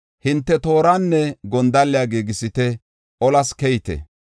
Hinte tooranne gondalle giigisite; olas keyite.